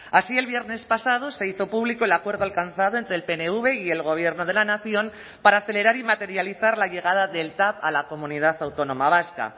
así el viernes pasado se hizo público el acuerdo alcanzado entre el pnv y el gobierno de la nación para acelerar y materializar la llegada del tav a la comunidad autónoma vasca